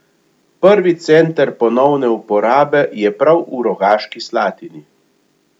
Prvi center ponovne uporabe je prav v Rogaški Slatini.